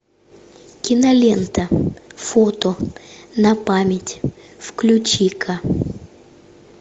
кинолента фото на память включи ка